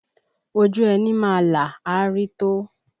Ojú ẹni má là, a rí tó